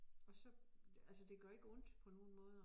Og så altså det gør ikke ondt på nogen måder